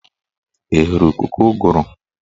Ị hụrụ ikuku ụgụrụ?